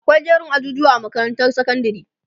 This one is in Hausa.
akwai jerin ajujuwa a makarantar sekondari